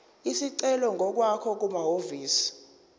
isicelo ngokwakho kumahhovisi